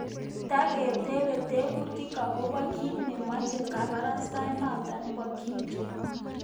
Tagetebe tebutiik agobo kiit nemeche kabarastaenoto bo Kim Jong Un